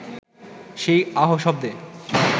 সেই আহ শব্দে